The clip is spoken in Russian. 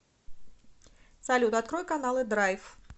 салют открой каналы драйв